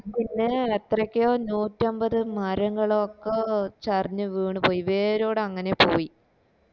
പിന്നെ അത്രക്ക നൂറ്റമ്പത് മരങ്ങളോക്ക ചരിഞ്ഞ് വീണ് പോയി വേരോടെ അങ്ങനെ പോയി